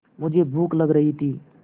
मुझे भूख लग रही थी